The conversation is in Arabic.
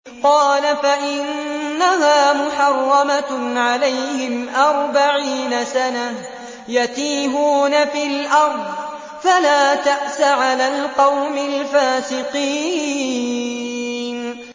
قَالَ فَإِنَّهَا مُحَرَّمَةٌ عَلَيْهِمْ ۛ أَرْبَعِينَ سَنَةً ۛ يَتِيهُونَ فِي الْأَرْضِ ۚ فَلَا تَأْسَ عَلَى الْقَوْمِ الْفَاسِقِينَ